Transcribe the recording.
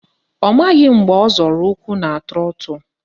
Ọ maghị mgbe ọ zọrọ ụkwụ na trọtụ